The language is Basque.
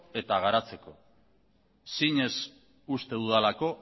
eta garatzeko zinez uste dudalako